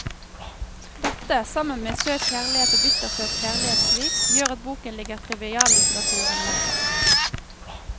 Dette, sammen med søt kjærlighet og bittersøt kjærlighetssvik, gjør at boken ligger triviallitteraturen nær.